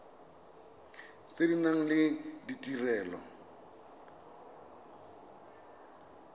tse di nang le ditirelo